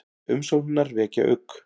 Umsóknirnar vekja ugg